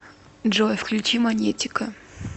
джой включи манетика